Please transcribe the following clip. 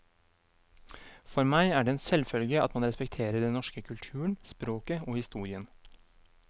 For meg er det en selvfølge at man respekterer den norske kulturen, språket og historien.